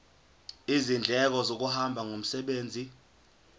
izindleko zokuhamba ngomsebenzi